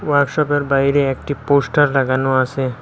ওয়ার্কশপের বাইরে একটি পোস্টার লাগানো আসে।